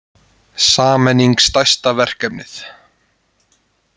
Sameiningin stærsta verkefnið